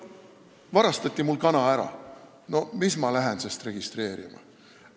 No varastati mul kana ära, mis ma lähen sest registreerima!